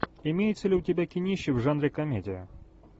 имеется ли у тебя кинище в жанре комедия